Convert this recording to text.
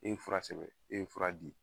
E ye fura sɛbɛn, e ye fura di.